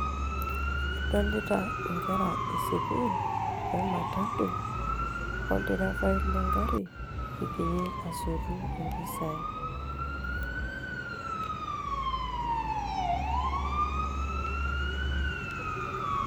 kadolita nkera esukuul we matatu, olderefai le gari, egira asotu mpisai.